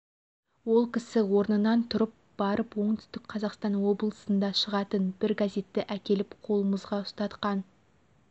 ол кісі орнынан тұрып барып оңтүстік қазақстан облысында шығатын бір газетті әкеліп қолымызға ұстатқан